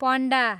पण्डा